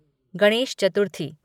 Ganesh Chaturthi